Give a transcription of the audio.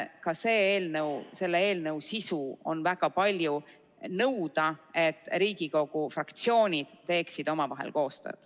Ka selle eelnõu sisu on väga palju nõuda, et Riigikogu fraktsiooni teeksid omavahel koostööd.